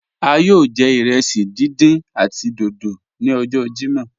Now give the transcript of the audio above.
A yọọ jẹ irẹsí dídán àti dódó ni ọjọ Jímọ́.